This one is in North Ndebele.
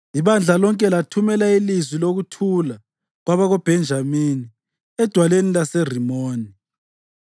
Ibandla lonke lathumela ilizwi lokuthula kwabakoBhenjamini edwaleni laseRimoni.